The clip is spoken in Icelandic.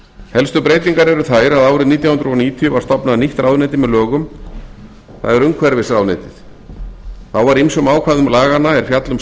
helstu breytingar eru þær að árið nítján hundruð níutíu var stofnað nýtt ráðuneyti með lögum það er umhverfisráðuneytið þá var ýmsum ákvæðum laganna er fjalla um